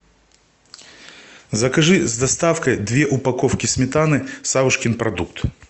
закажи с доставкой две упаковки сметаны савушкин продукт